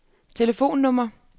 telefonnummer